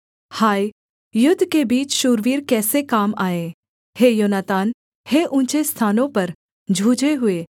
हाय युद्ध के बीच शूरवीर कैसे काम आए हे योनातान हे ऊँचे स्थानों पर जूझे हुए